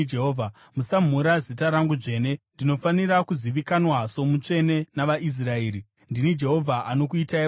Musamhura zita rangu dzvene. Ndinofanira kuzivikanwa somutsvene navaIsraeri. Ndini Jehovha anokuitai vatsvene